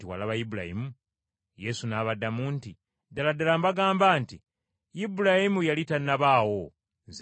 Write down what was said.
Yesu n’abaddamu nti, “Ddala ddala mbagamba nti Ibulayimu yali tannabaawo, Nze nga wendi.”